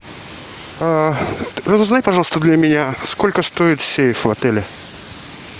разузнай пожалуйста для меня сколько стоит сейф в отеле